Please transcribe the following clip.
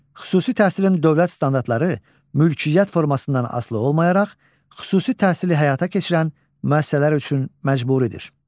Xüsusi təhsilin dövlət standartları mülkiyyət formasından asılı olmayaraq, xüsusi təhsili həyata keçirən müəssisələr üçün məcburidir.